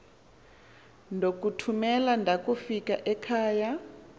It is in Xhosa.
ndokuthumela ndakufika ekhava